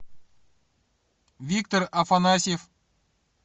виктор афанасьев